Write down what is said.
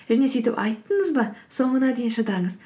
және сөйтіп айттыңыз ба соңына дейін шыдаңыз